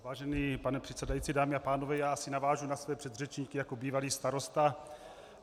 Vážený pane předsedající, dámy a pánové, já asi navážu na svoje předřečníky jako bývalý starosta.